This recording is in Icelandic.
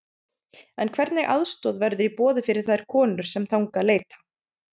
En hvernig aðstoð verður í boði fyrir þær konur sem þangað leita?